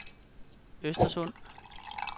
Östersund